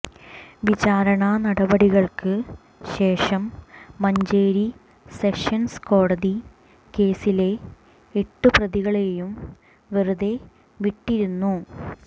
വിചാരണ നടപടികള്ക്ക് ശേഷം മഞ്ചേരി സെഷന്സ് കോടതി കേസിലെ എട്ട് പ്രതികളെയും വെറുതെ വിട്ടിരുന്നു